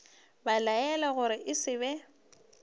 belaela gore e se be